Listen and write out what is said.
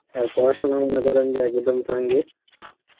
আর পরাসনা মনে করেন যে একদম চাঙ্গে